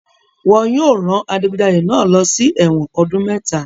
Wọn yóò rán adigunjalè náà lọ sí ẹ̀wọ̀n ọdún mẹ́ta.